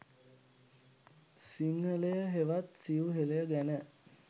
සිංහලය හෙවත් සිව් හෙළය ගැන